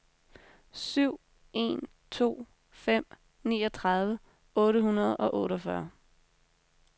syv en to fem niogtredive otte hundrede og otteogfyrre